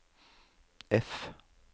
F